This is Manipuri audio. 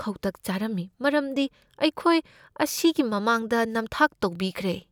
ꯈꯧꯇꯛ ꯆꯥꯔꯝꯃꯤ ꯃꯔꯝꯗꯤ ꯑꯩꯈꯣꯏ ꯑꯁꯤꯒꯤ ꯃꯃꯥꯡꯗ ꯅꯝꯊꯥꯛ ꯇꯧꯕꯤꯈ꯭ꯔꯦ꯫